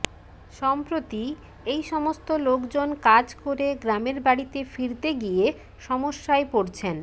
সম্প্রতি এই সমস্ত লোকজন কাজ করে গ্রামের বাড়িতে ফিরতে গিয়ে সমস্যায় পড়ছেন